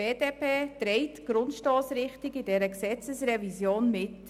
Die BDP trägt die Grundstossrichtung dieser Gesetzesrevision mit.